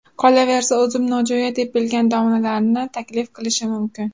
Qolaversa, o‘zim nojo‘ya deb bilgan domlalarni taklif qilishi mumkin.